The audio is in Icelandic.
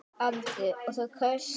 Andri: Og þú kaust?